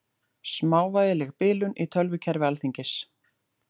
Smávægileg bilun í tölvukerfi Alþingis